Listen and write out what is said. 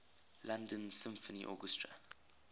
london symphony orchestra